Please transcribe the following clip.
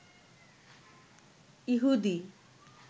ইহুদি